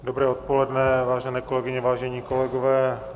Dobré odpoledne, vážené kolegyně, vážení kolegové.